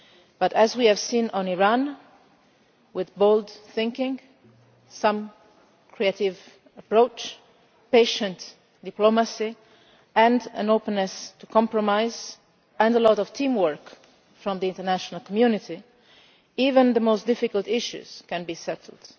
But, as we have seen on Iran, with bold thinking, with a creative approach, patient diplomacy and an openness to compromise, and with a lot of teamwork from the international community, even the most difficult issues can be settled.